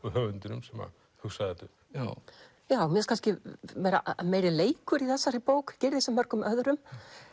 höfundinum sem hugsaði þetta upp já mér finnst kannski vera meiri leikur í þessari bók Gyrðis en mörgum öðrum